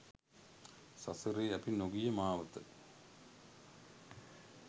සසරේ අපි නොගිය මාවත